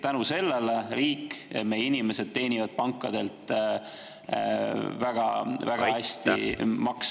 Tänu sellele riik ja meie inimesed teenivad pankadelt väga-väga hästi makse.